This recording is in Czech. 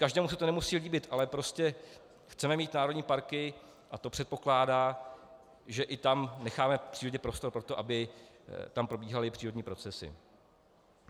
Každému se to nemusí líbit, ale prostě chceme mít národní parky a to předpokládá, že tam necháme přírodě prostor pro to, aby tam probíhaly přírodní procesy.